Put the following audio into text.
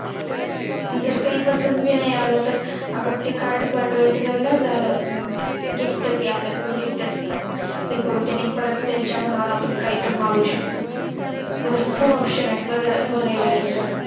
आणि जर काही पसंद नाही आला तर आपण ते Card पाठवायचं नाही झालं अं आपलं Gift ते आपलं कोण ते Gift आहार ते करून आपण त्याच्या मनावर काहीही मागवू शकतो भरपूर Option आहे बघायला गेले तर